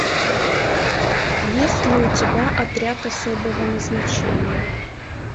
есть ли у тебя отряд особого назначения